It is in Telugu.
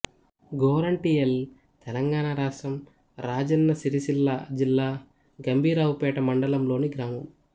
గోరంటియల్ తెలంగాణ రాష్ట్రం రాజన్న సిరిసిల్ల జిల్లా గంభీరావుపేట మండలంలోని గ్రామం